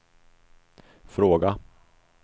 fråga